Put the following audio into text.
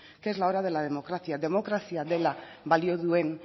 que es la hora de la democracia demokrazia dela balio duen